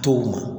To u ma